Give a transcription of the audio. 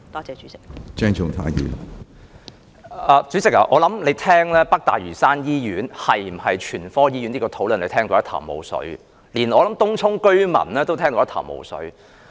主席，你聆聽這項"北大嶼山醫院是否全科醫院"的討論時，諒必一頭霧水，而我亦相信連東涌居民亦一頭霧水。